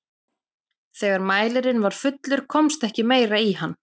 þegar mælirinn var fullur komst ekki meira í hann